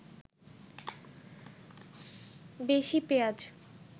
বেশি পেঁয়াজ